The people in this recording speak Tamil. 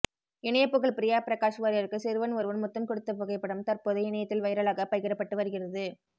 இணையப்புகழ் பிரியா பிரகாஷ் வாரியருக்கு சிறுவன் ஒருவன் முத்தம் கொடுத்த புகைப்படம் சதற்போது இணையத்தில் வைரலாக பகிரப்பட்டு வருகிறது